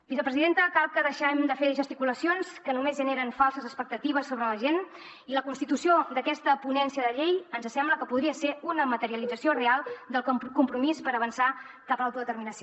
vicepresidenta cal que deixem de fer gesticulacions que només generen falses expectatives sobre la gent i la constitució d’aquesta ponència de llei ens sembla que podria ser una materialització real del compromís per avançar cap a l’autodeterminació